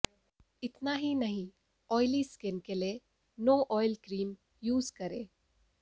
इतना ही नहीं ऑयली स्किन के लिए नो ऑयल क्रीम यूज करें